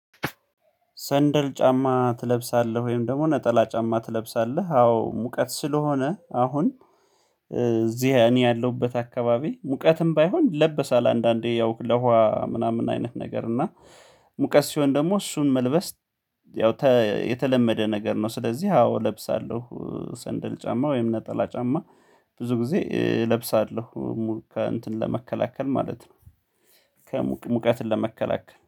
ሰንደል ጫማ ትለብሳለህ ወይም ደግሞ ነጠላ ጫማ ትለብሳለህ? አዎ ሙቀት ስለሆነ አሁን እዚህ እኔ ያለሁበት አካባቢ ሙቀትም ባይሆን ይለበሳል አንዳንዴ ያው ለውሃ ምናምን አይነት ነገር እና ሙቀት ሲሆን ደግሞ እሱን መልበስ ያው የተለመደ ነገር ነው ስለዚህ አዎ እለብሳለሁ ሰንደል ጫማ ወይም ነጠላ ጫማ ብዙ ጊዜ እለብሳለሁ ሙሉ ከእንትን ለመከላከል ማለት ነው። ሙቀትን ለመከላከል